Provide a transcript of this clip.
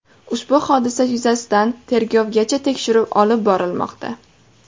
Ushbu hodisa yuzasidan tergovgacha tekshiruv olib borilmoqda.